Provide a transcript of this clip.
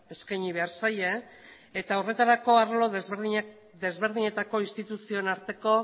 eskaini behar zaie eta horretarako arlo desberdinetako instituzioen arteko